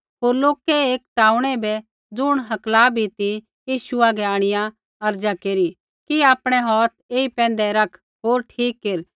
होर लोकै एक टाऊँणै बै ज़ुण हकला भी ती यीशु हागै आंणिआ अर्ज़ा केरी कि आपणै हौथ ऐई पैंधै रख होर ठीक केर